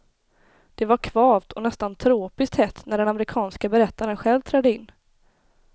Det var kvavt och nästan tropiskt hett när den amerikanska berättaren själv trädde in.